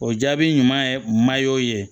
O jaabi ɲuman ye ye